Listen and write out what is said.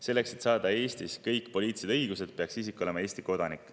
Selleks, et saada Eestis kõik poliitilised õigused, peaks isik olema Eesti kodanik.